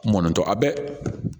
Mɔnɔntɔ a bɛ